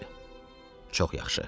Bəli, çox yaxşı.